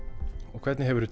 og hvernig hefur þú